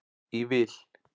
í vil.